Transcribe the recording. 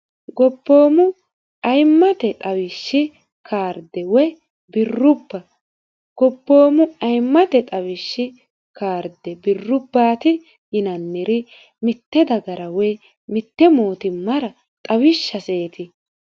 gobboomu ayimmate dhawishshi kaarde woy birrubba gobboomu ayimmate xawishshi kaarde birrubbaati yinanniri mitte dagara woy mitte mootimmara xawishshaseeti